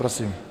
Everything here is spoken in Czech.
Prosím.